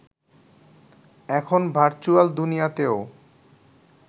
এখন ভার্চুয়াল দুনিয়াতেও